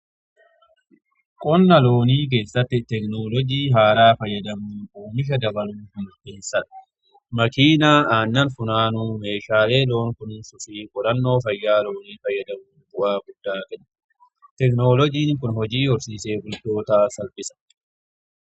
Qonna loonii keessatti tekinoloojii haaraa fayyadamun uumisha dabaluu mirkaneessa. Makiinaa aannan funaanuu meeshaalee loon kunuunsuu fi qorannoo fayyaa loonii fayyadamu bu'aa guddaa kenne tekinolouojiin kun hojii horsiisee bultootaa salphisa.